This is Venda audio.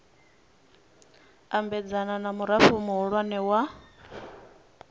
ambedzana na murao muhulwane wa